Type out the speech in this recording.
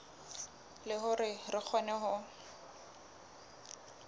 le hore re kgone ho